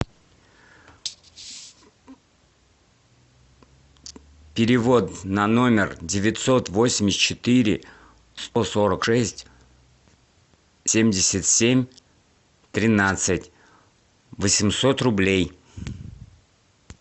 перевод на номер девятьсот восемьдесят четыре сто сорок шесть семьдесят семь тринадцать восемьсот рублей